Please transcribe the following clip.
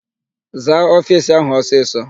Zaa ofiisi áhụ̀ ọsịsọ!